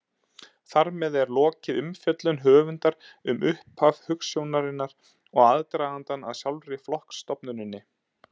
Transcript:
Þar með er lokið umfjöllun höfundar um upphaf hugsjónarinnar og aðdragandann að sjálfri flokksstofnuninni.